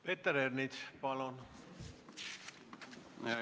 Peeter Ernits, palun!